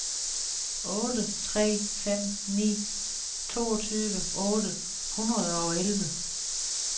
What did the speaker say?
otte tre fem ni toogtyve otte hundrede og elleve